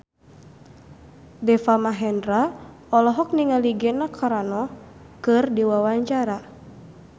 Deva Mahendra olohok ningali Gina Carano keur diwawancara